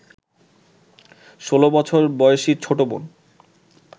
১৬ বছর বয়সী ছোট বোন